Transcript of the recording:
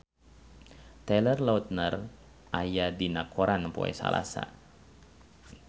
Taylor Lautner aya dina koran poe Salasa